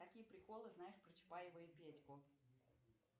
какие приколы знаешь про чапаева и петьку